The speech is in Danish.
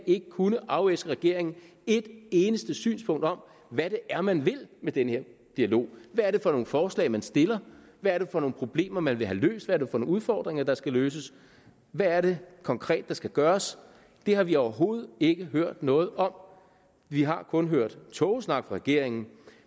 ikke kunnet afæske regeringen et eneste synspunkt om hvad det er man vil med den her dialog hvad er det for nogle forslag man stiller hvad er det for nogle problemer man vil have løst hvad er det for nogle udfordringer der skal løses hvad er det konkret der skal gøres det har vi overhovedet ikke hørt noget om vi har kun hørt tågesnak fra regeringen